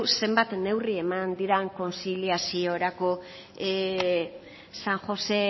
zenbat neurri eman diren kontziliaziorako san josé